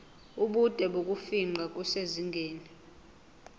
ubude bokufingqa kusezingeni